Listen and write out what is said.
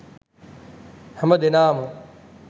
හැමදෙනාම